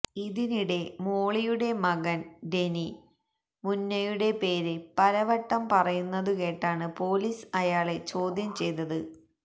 ഇതിനിടെ മോളിയുടെ മകന് ഡെനി മുന്നയുടെ പേര് പലവട്ടം പറയുന്നതു കേട്ടാണ് പോലീസ് അയാളെ ചോദ്യം ചെയ്തത്